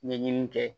Ɲɛɲini kɛ